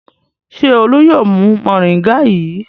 Ṣé Olú yóò mu mòríngà yìí?